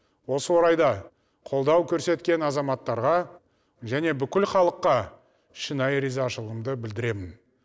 осы орайда қолдау көрсеткен азаматтарға және бүкіл халыққа шынайы ризашылығымды білдіремін